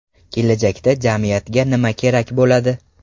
Kelajakda jamiyatga nima kerak bo‘ladi?